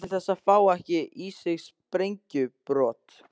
Til þess að fá ekki í sig sprengjubrot.